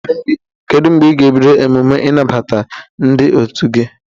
Kedu mgbe ị ga-ebido emume ịnabata ndị otu gi?